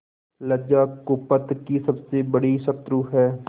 लज्जा कुपथ की सबसे बड़ी शत्रु है